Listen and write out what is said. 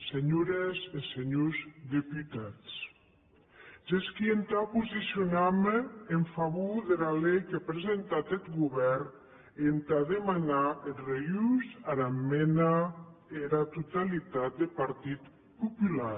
senhores e senhors deputats gesqui entà posicionarme en favor dera lei qu’a presentat eth govèrn e entà demanar eth refús dera esmenda ara totalitat deth partit popular